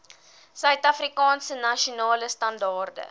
suidafrikaanse nasionale standaarde